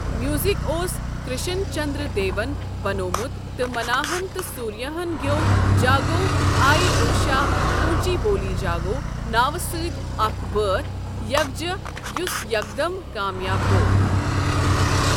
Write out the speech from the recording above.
Music اوس کرشن چندر دے وَن بنٛوٚومُت تہٕ مناہَن تہٕ سُوریاہَن گیٚوو 'جاگو آئے اوشا پونچی بولی جاگو' ناوٕ سۭتۍ اکھ بٲتھ یکجہ یُس یَک دَم کامیاب گوٚو۔